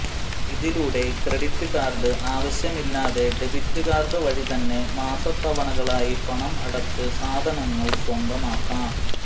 ഇതിലൂടെ credit card ആവശ്യമില്ലാതെ debit card വഴി തന്നെ മാസതവണകളായി പണം അടച്ച് സാധനങ്ങൾ സ്വന്തമാക്കാം